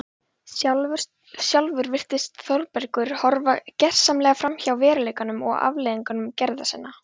Sjálfur virðist Þórbergur horfa gersamlega framhjá veruleikanum og afleiðingum gerðanna.